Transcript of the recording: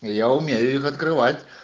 я умею их открывать